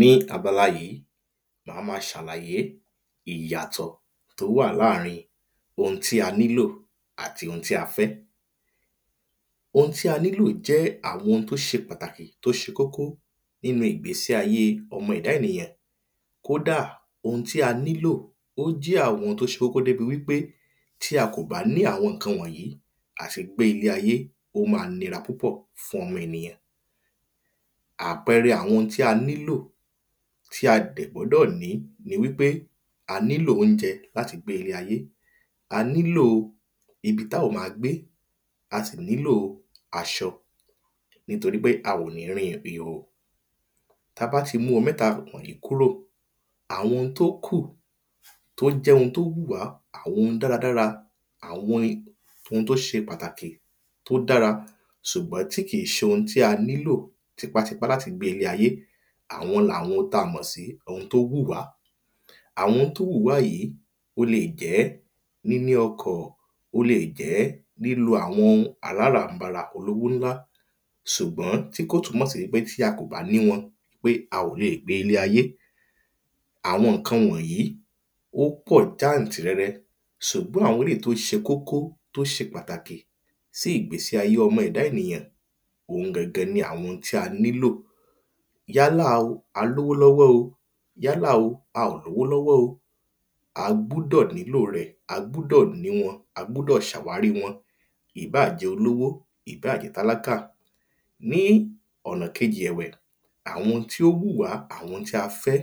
ní abala yí má má ṣalayé ìyàtọ̀ tó wà láàrin ohun tí a nílò àti un ti a fẹ́ oun tí a nílò jẹ́ àwọn ohun tó ṣe pàtàkì tó ṣe kó kó nínu ìgbési ayé ọmọ ẹ̀da ènìyàn kódà oun tí a nílò ó jẹ́ àwọn ohun tó ṣe kó kó tó jẹ́ wípé tí a kò bá ní àwọn ǹkan wọ̀nyí àti gbé iĺe ayé ó ma nira púpọ̀ fún ọmọ ènìyàn àpẹẹrẹ àwọn ohun tó ṣe pàtàkì tí a dẹ̀ gbọ́dọ̀ ní ni wípé a nílò óunjẹ láti gbé iĺe ayé a nílò ibi tá ó ma gbé a sì nílò aṣọ nítorí pé a ò ní rin ìrìnhò tabá ti mú mẹ́ta wọ̀n wọ̀nyí kúrò àwọn ohun tó kù tó jẹ́ ohun tó wù wá àwọn ohun dáradára àwọn ohun tó ṣe pàtàkì tó dára ṣùgbọ́n tí kì ṣe ohun tí a nílò tipátipá láti gbé ilé ayé àwọn làwọn ohun tí a mọ̀ sí ohun tó wù wá àwọn tó wù wá yí ó le jẹ́ níní ọkọ̀ ó le jẹ́ lílo àwọn aláràm̀barà olówó ńlá sùgbọ́n kó tú má ṣe pé tí a kò bá ní wọn pé a ò le gbé ilé ayé àwọn ǹkan wọ̀nyí ó kọ̀ jántìrẹrẹ sùgbọ́n àwọn eléyi tó se kókó tó ṣe pàtàkì sí ìgbési ayé ọmọ ẹ̀da ènìyàn òun gan gan ni àwọn ni ohun tí a nílò yálà o a lówó lọ́wọ́ o yálà o a ò lówó lọ́wọ́ o a gbúdọ̀ nílò rẹ̀ a gbúdọ̀ ní wọn a gbúdọ̀ ní ṣàwárí wọn ì bá jẹ́ olówó ì bá jẹ́ tálákà ní ọ̀ná kejì ẹ̀wẹ̀ àwọn tó wù wá àwọn tí a fẹ́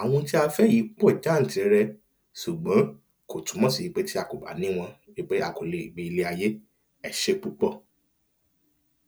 àwọn tí a fẹ́ yí pọ̀ jántìrẹrẹ sùgbọ́n kò túnmọ̀ sí pé tí a kò bá ní wọn wípé a kò lè gbé ilé ayé ẹ ṣé púpọ̀